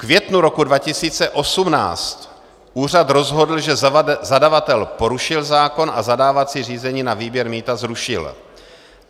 V květnu roku 2018 úřad rozhodl, že zadavatel porušil zákon, a zadávací řízení na výběr mýta zrušil.